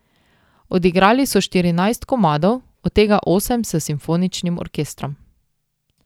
Odigrali so štirinajst komadov, od tega osem s simfoničnim orkestrom.